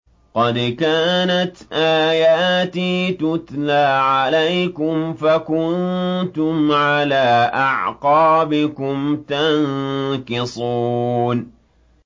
قَدْ كَانَتْ آيَاتِي تُتْلَىٰ عَلَيْكُمْ فَكُنتُمْ عَلَىٰ أَعْقَابِكُمْ تَنكِصُونَ